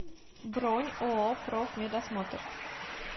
бронь ооо профмедосмотр